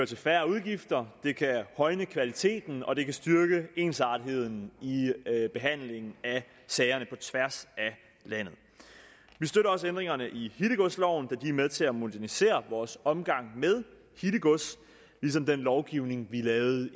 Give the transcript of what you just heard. til færre udgifter det kan højne kvaliteten og det kan styrke ensartetheden i behandlingen af sagerne på tværs af landet vi støtter også ændringerne i hittegodsloven da de er med til at modernisere vores omgang med hittegods ligesom den lovgivning vi lavede